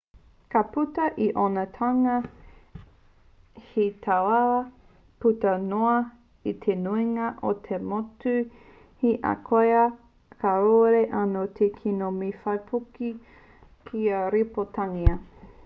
ka puta i ōna toenga he tāuaua puta noa i te nuinga o ngā motu he ahakoa kāore anō te kino me te waipuke kia rīpoatangia